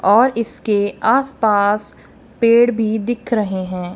और इसके आस पास पेड़ भी दिख रहे हैं।